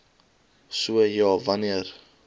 so ja wanneer